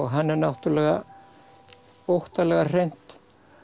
hann er náttúrulega óttalega hreint